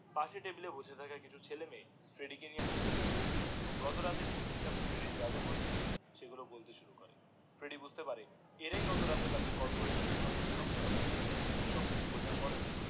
পাশের টেবিল এ বসে থাকা কিছু ছেলে মেয়ে ফ্রেডিডি কে নিয়ে হাসা হাসি করে এবং গত রাতে মেয়েটির সাথে ফ্রেড্ডির জা জা হয়েছিল সেগুলো বলতে শুরু করে ফ্রেডিডি বুজতে পারে এরাই গত রাতে তাকে কল করে আঁকে বোকা বানিয়েছিলো সব কিছু বাজার পরেও